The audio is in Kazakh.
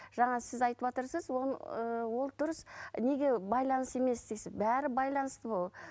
жаңа сіз айтыватырсыз он ыыы ол дұрыс неге байланысты емес дейсіз бәрі байланысты ол